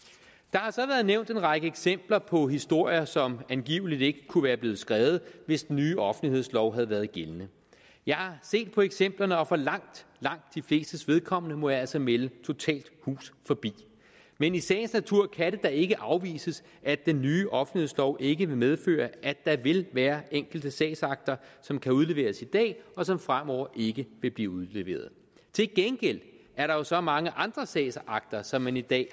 har så været nævnt en række eksempler på historier som angiveligt ikke kunne være blevet skrevet hvis den nye offentlighedslov havde været gældende jeg har set på eksemplerne og for langt langt de flestes vedkommende må jeg altså melde totalt hus forbi men i sagens natur kan det da ikke afvises at den nye offentlighedslov ikke medfører at der vil være enkelte sagsakter som kan udleveres i dag og som fremover ikke vil blive udleveret til gengæld er der jo så mange andre sagsakter som man i dag